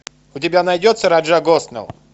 у тебя найдется раджа госнелл